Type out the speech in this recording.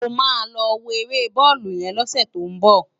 Ámá lò wó éré bòlú yèn lòsè tó n bò